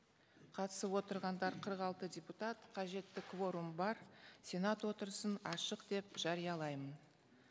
қатысып отырғандар қырық алты депутат қажетті кворум бар сенат отырысын ашық деп жариялаймын